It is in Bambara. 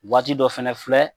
Waati dɔ fana filɛ